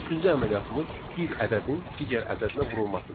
Üçüncü əməliyyatımız bir ədədin digər ədədinə vurulmasıdır.